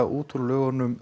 út úr lögunum